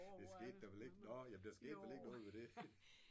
Det skete der vel ikke nåh jamen der skete vel ikke noget ved det